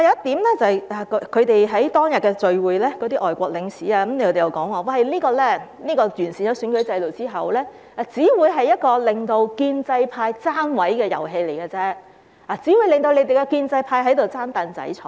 此外，在當天的聚會上，有外國領事又表示，完善選舉制度之後，選舉只會成為建制派"爭位"的遊戲，只會讓建制派爭"櫈仔"坐。